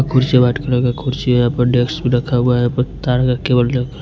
कुर्सी है white colour का कुर्सी है यहाँ पर डेस्क भी रखा हुआ है --